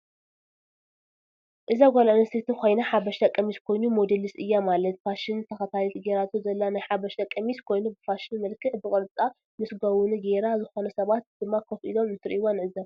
እዛ ጋል ኣንስተይቲ ኮይና ሓበሻ ቀሚስ ኮይኑ ሞዲልስ እያ ማለት ፋሽን ተከታልቲ ገራቶ ዘለ ናይ ሓበሻ ቀሚስ ኮይኑ ብፋሽን መልክዒ ብቅርፃ ምስ ጋውኑ ገይራ ዝኮኑ ሰባት ደማ ከፍ ኢሎም እንትርእዋ ንዕዘብ።